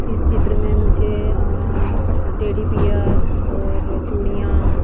इस चित्र में मुझे टेडी पियर और चूड़ियां --